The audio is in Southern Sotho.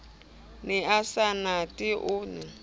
ne a sa mathe o